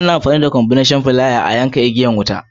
Ana amfani da " combination plier " ana yanka ko ɗaurin igiyan wuta.